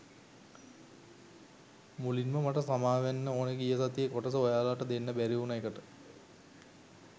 මුලින්ම මට සමාවෙන්න ඕනේ ගිය සතියේ කොටස ඔයාලට දෙන්න බැරිවුන එකට.